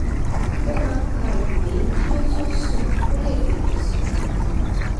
ó máa ń ka ìwé kí ó tó sùn kó lè tètè sùn